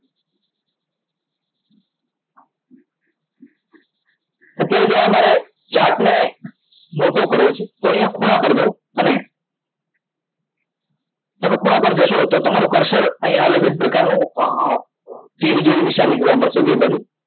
અત્યારે જો અમારે chart ને મોટો કરવો છે તો અહિયાં ખૂણા પર જાવ અને તમે ખૂણા પર જશો તો તમારું cursor અહિયાં અલગ જ પ્રકારનું અમ તીર જેવી નિશાની જોવા મળશે બેય બાજુ